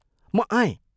म आएँ...